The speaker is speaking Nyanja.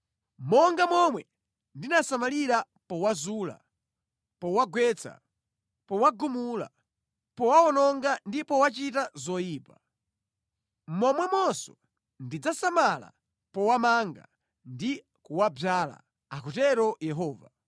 Monga momwe ndinasamalira powazula, powagwetsa, powagumula, powawononga ndi powachita zoyipa, momwemonso ndidzasamala powamanga ndi powadzala” akutero Yehova.